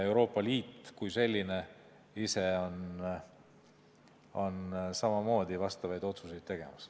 Euroopa Liit kui selline on samamoodi vastavaid otsuseid tegemas.